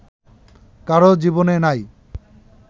কারো জীবনে নাই